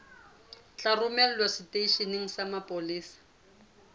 tla romelwa seteisheneng sa mapolesa